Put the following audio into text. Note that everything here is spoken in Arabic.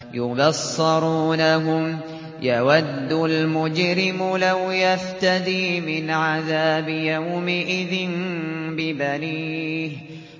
يُبَصَّرُونَهُمْ ۚ يَوَدُّ الْمُجْرِمُ لَوْ يَفْتَدِي مِنْ عَذَابِ يَوْمِئِذٍ بِبَنِيهِ